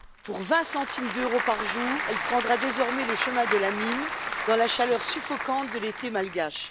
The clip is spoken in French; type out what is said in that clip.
Pour 20 centimes d'euros par jour, elle prendra désormais le chemin de la mine, dans la chaleur suffocante de l'été malgache.